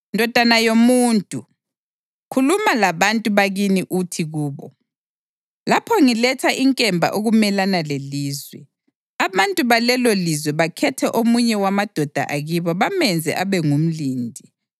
“Ndodana yomuntu, khuluma labantu bakini uthi kubo, ‘Lapho ngiletha inkemba ukumelana lelizwe, abantu balelolizwe bakhethe omunye wamadoda akibo bamenze abe ngumlindi,